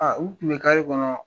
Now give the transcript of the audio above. Aa u Kun be kɔnɔ